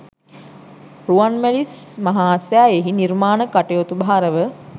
රුවන්මැලි මහා සෑයෙහි නිර්මාණ කටයුතු භාරව